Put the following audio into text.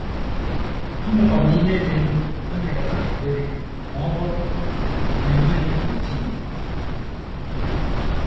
Amakwa m na ihe dị ndụ emekataghị dịrị ma ọ bụrụ na e nweghị protin.